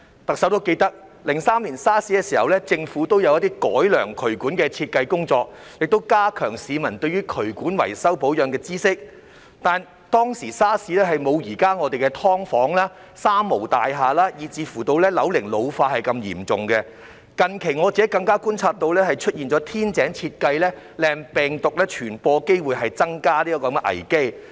特首都記得 ，2003 年 SARS 時政府也有一些改良渠管設計的工作，亦加強市民對於渠管維修保養的知識，但 SARS 當時我們的"劏房"、"三無"大廈以至樓齡老化問題沒有現在這麼嚴重，近期我更加觀察到出現天井設計令病毒傳播機會增加的危機。